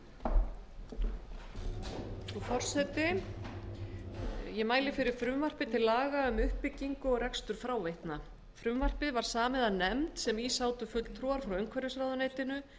hæstvirtur forseti ég mæli hér fyrir frumvarpi til laga um uppbyggingu og rekstur fráveitna frumvarpið var samið af nefnd sem í sátu fulltrúar frá umhverfisráðuneytinu